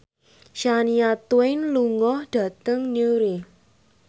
Shania Twain lunga dhateng Newry